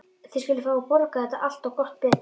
Þið skuluð fá að borga þetta allt. og gott betur!